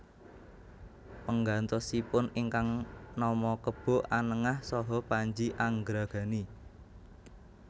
Penggantosipun ingkang nama Kebo Anengah saha Panji Angragani